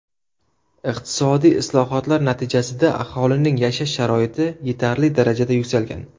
Iqtisodiy islohotlar natijasida aholining yashash sharoiti yetarli darajada yuksalgan.